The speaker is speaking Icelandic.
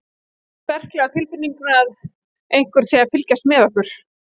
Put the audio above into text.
Ég hef það sterklega á tilfinningunni að einhver sé að fylgjast með okkur.